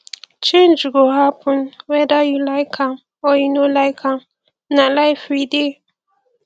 change go happen weda you like am or you no like am na life we dey